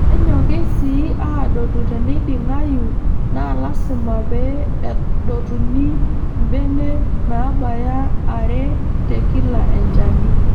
Kenyoki sii aadotu teneiding'ayu naa lasima pee edotuni mbene naabaya are tekila enchani.